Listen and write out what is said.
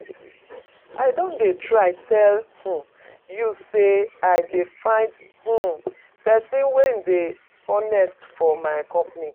I don dey try tell um you say I dey find um person wey dey honest for my company